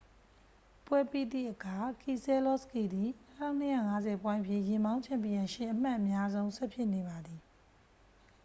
ပွဲပြီးသည့်အခါ ကီဆဲလောစကီသည် 2250 ပွိုင့်ဖြင့် ယာဉ်မောင်း ချန်ပီယံရှစ် အမှတ်အများဆုံး ဆက်ဖြစ်နေပါသည်